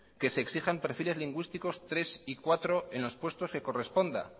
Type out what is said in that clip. que se exijan perfiles lingüísticos tres y cuatro en los puestos que corresponda